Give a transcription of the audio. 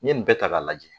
N ye nin bɛɛ ta k'a lajɛ